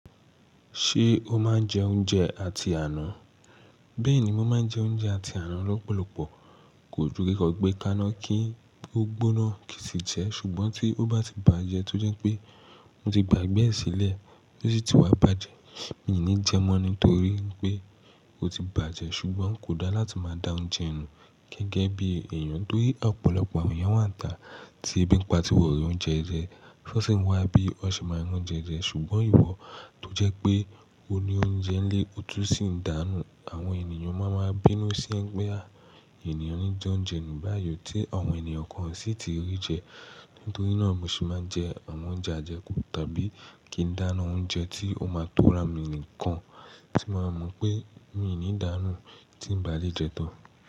Ṣé o máa ń jẹ oúnjẹ àti àná? Bẹ́ẹ̀ni, mo máa ń jẹ oúnjẹ àti àná lọ́pọ̀lọpọ̀, kò ju rí kọ gbé kaná kí ó gbóná kì í ti jẹ, ṣùgbọ́n tí ó bá ti bàjẹ́ tó jẹ́ pé mo ti gbàgbé ẹ̀ sílẹ̀ tó sì ti wá bàjẹ́, mi ò ní jẹ mọ́ nítorí pé ó ti bàjẹ́. Ṣùgbọ́n kò dá láti máa da oúnjẹ nù gẹ́gẹ́ bí èèyàn torí ọ̀pọ̀lọpọ̀ àwọn èèyàn wà níta tí ebí ń pa tíwọn rí oúnjẹ jẹ, tan sì ń wá bí wọ́n ṣe máa ń ron oúnjẹ jẹ. Ṣùgbọ́n ìwọ tó jẹ́ pé o ni oúnjẹ ń lé o tun sì ń dànù, àwọn èèyàn máa ń bínú sí ẹ pé àwọn èèyàn ní jẹ oúnjẹ nù báàyò tí àwọn èèyàn kan o sì ti rí jẹ. Nítorí náà mo se máa ń jẹ àwọn oúnjẹ àjẹkù tàbí kí n dàna oúnjẹ tí ó máa ń tọ́ra mi nìkan tí màá mọ̀ pé mi ò ní dànù tí ń ba lè jẹ tán.